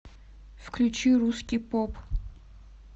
включи русский поп